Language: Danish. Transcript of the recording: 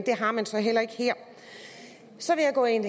har man så heller ikke her så vil jeg gå ind